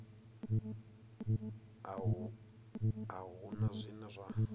a hu na zwine zwa